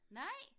Nej?